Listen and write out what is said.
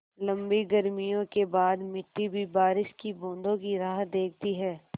लम्बी गर्मियों के बाद मिट्टी भी बारिश की बूँदों की राह देखती है